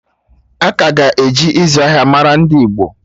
Aka ga-eji izu ahịa mara ndị Igbo